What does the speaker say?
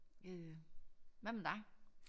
Øh hvad med dig?